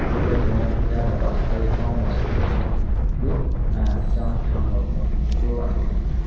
chup bi tong Kia da bacha pai tongo masli pai chung nugfio kis bufang rok nug fio achai tongma rok.